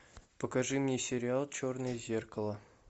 покажи мне сериал черное зеркало